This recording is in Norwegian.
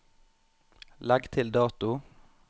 Legg til dato